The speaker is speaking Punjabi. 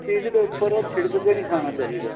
ਚੀਜ਼ ਦੇ ਉੱਪਰ ਛਿੜਕ ਕੇ ਨਹੀਂ ਖਾਣਾ ਚਾਹੀਦਾ